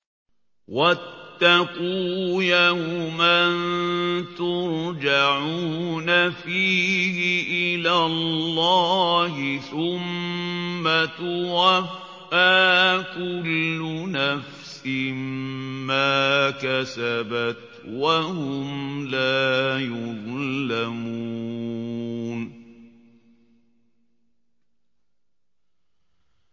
وَاتَّقُوا يَوْمًا تُرْجَعُونَ فِيهِ إِلَى اللَّهِ ۖ ثُمَّ تُوَفَّىٰ كُلُّ نَفْسٍ مَّا كَسَبَتْ وَهُمْ لَا يُظْلَمُونَ